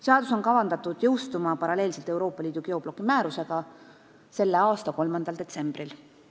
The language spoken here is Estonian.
Seadus on kavandatud jõustuma paralleelselt Euroopa Liidu geobloki määrusega selle aasta 3. detsembril.